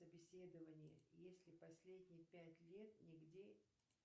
собеседование если последние пять лет нигде